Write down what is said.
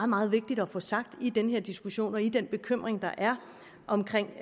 meget vigtigt at få sagt i den her diskussion og i den bekymring der er omkring